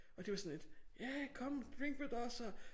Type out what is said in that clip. Og de var sådan lidt hey come drink with us og